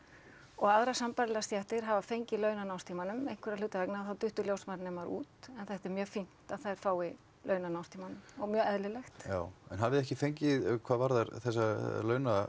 og aðrar sambærilegar stéttir hafa fengið laun á námstímanum einhverra hluta vegna þá duttu ljósmóðurnemar út en þetta er mjög fínt að þær fái laun á námstímanum og mjög eðlilegt já en hafið þið ekki fengið hvað varðar þessa